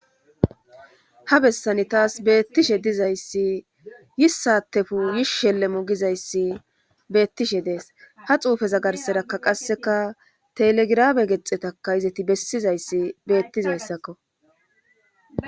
ha bessani taas beettishe dizayssi yissatefu yish shelle mogizayssi beettishe dees ha xuufeza garserakka qasseka telegrame gexxetaka izati bessizayssi beettizayssakko